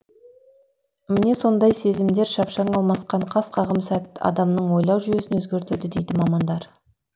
міне сондай сезімдер шапшаң алмасқан қас қағым сәт адамның ойлау жүйесін өзгертеді дейді мамандар